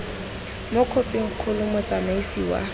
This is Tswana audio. mo khophing kgolo motsamaisi wa